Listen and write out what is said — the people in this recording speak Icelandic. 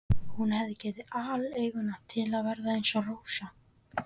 Hún hefði gefið aleiguna til að vera eins og Rósa.